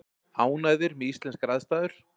Ánægðir með íslenskar aðstæður